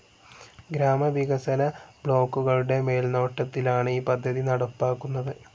ഗ്രാമവികസന ബ്ലോക്കുകളുടെ മേൽനോട്ടത്തിലാണ് ഈ പദ്ധതി നടപ്പാക്കുന്നത്.